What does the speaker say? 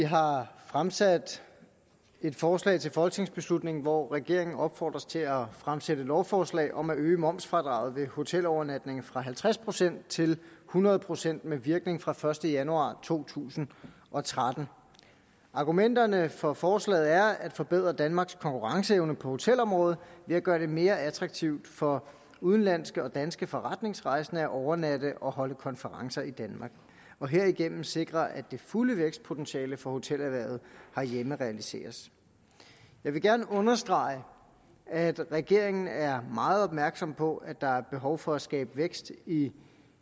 har fremsat et forslag til folketingsbeslutning hvori regeringen opfordres til at fremsætte lovforslag om at øge momsfradraget ved hotelovernatninger fra halvtreds procent til hundrede procent med virkning fra første januar to tusind og tretten argumenterne for forslaget er at forbedre danmarks konkurrenceevne på hotelområdet ved at gøre det mere attraktivt for udenlandske og danske forretningsrejsende at overnatte og holde konferencer i danmark og herigennem sikre at det fulde vækstpotentiale for hotelerhvervet herhjemme realiseres jeg vil gerne understrege at regeringen er meget opmærksom på at der er behov for at skabe vækst i